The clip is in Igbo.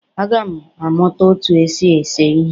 Aga m amụta otú e si ese ihe